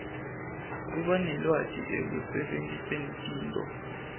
kubanelwati ekusebentiseni tinto